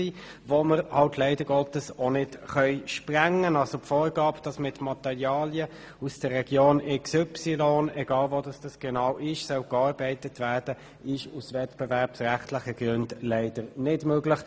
Die Vorgabe, dass mit Materialien aus der Region XY gearbeitet werden soll, ist aus wettbewerbsrechtlichen Gründen leider nicht möglich.